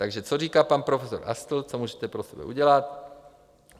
Takže co říká pan profesor Astl, co můžete pro sebe udělat?